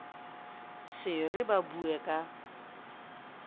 se re sa bue ka